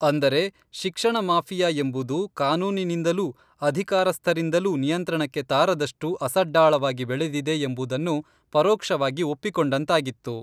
ಅಂದರೆ ಶಿಕ್ಷಣ ಮಾಫಿಯಾ ಎಂಬುದು ಕಾನೂನಿನಿಂದಲೂ ಅಧಿಕಾರಸ್ಥರಿಂದಲೂ ನಿಯಂತ್ರಣಕ್ಕೆ ತಾರದಷ್ಟು ಅಸಡ್ಡಾಳವಾಗಿ ಬೆಳೆದಿದೆ ಎಂಬುದನ್ನು ಪರೋಕ್ಷವಾಗಿ ಒಪ್ಪಿಕೊಂಡಂತಾಗಿತ್ತು.